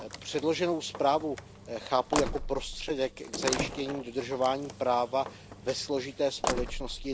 Předloženou zprávu chápu jako prostředek k zajištění dodržování práva ve složité společnosti